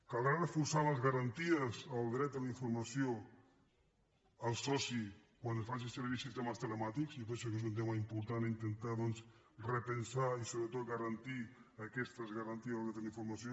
caldrà reforçar les garanties del dret a la informació al soci quan es facin servir sistemes telemàtics jo penso que és un tema important intentar doncs repensar i sobretot garantir aquestes garanties del dret a la informació